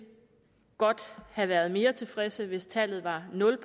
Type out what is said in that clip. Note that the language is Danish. godt have været mere tilfredse hvis tallet var nul